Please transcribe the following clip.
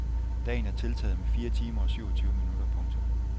Dagen er tiltaget med fire timer og syvogtyve minutter. punktum